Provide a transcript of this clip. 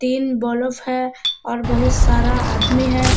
तीन बलफ हैं और बहुत सारा आदमी हैं।